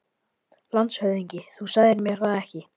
LANDSHÖFÐINGI: Þú sagðir mér það ekki.